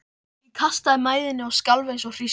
Ég kastaði mæðinni og skalf eins og hrísla.